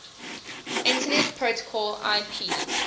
internet protocol ip